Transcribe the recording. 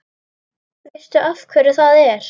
Veistu af hverju það er?